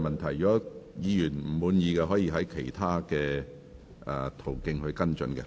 如果議員不滿意，可以循其他途徑跟進。